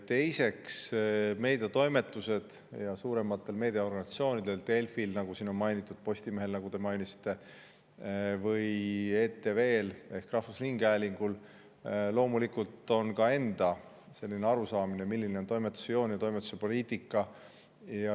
Teiseks, meediatoimetustel ja suurematel meediaorganisatsioonidel – Delfil, nagu siin on mainitud, Postimehel, nagu te mainisite, ja ETV-l ehk rahvusringhäälingul – loomulikult on enda arusaamine, milline on toimetuse joon ja toimetuse poliitika.